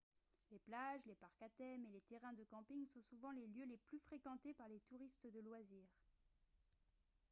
les plages les parcs à thème et les terrains de camping sont souvent les lieux les plus fréquentés par les touristes de loisirs